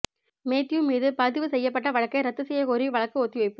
Matthew மீது பதிவு செய்யப்பட்ட வழக்கை ரத்து செய்யக்கோரி வழக்கு ஒத்திவைப்பு